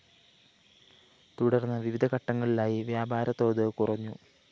തുടര്‍ന്ന് വിവിധ ഘട്ടങ്ങളിലായി വ്യാപാര തോത് കുറഞ്ഞു